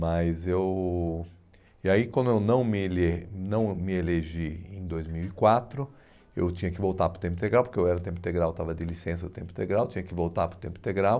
Mas eu... E aí, quando eu não me ele não me elegi em dois mil e quatro, eu tinha que voltar para o tempo integral, porque eu era tempo integral, estava de licença do tempo integral, tinha que voltar para o tempo integral.